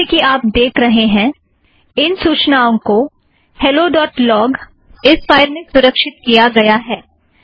जैसे कि आप देख रहे हैं इन सूचनाओं को हॅलो डॊट लॊग helloलॉगफ़ाइल में सुरक्षीत किया गया है